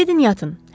Gedin yatın.